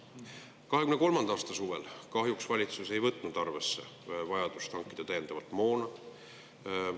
2023. aasta suvel kahjuks valitsus ei võtnud arvesse vajadust hankida täiendavat moona.